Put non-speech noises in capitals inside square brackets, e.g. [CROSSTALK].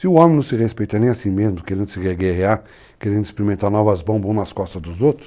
Se o homem não se respeita nem assim mesmo, querendo se, [UNINTELLIGIBLE] querendo experimentar novas bombas uns nas costas dos outros,